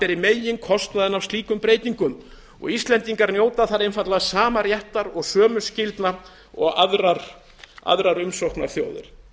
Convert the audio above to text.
beri meginkostnaðinn af slíkum breytingum íslendingar njóta þar einfaldlega sama réttar og sömu skyldna og aðrar umsóknarþjóðir